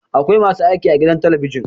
Akwai masu aiki a gidan talabijin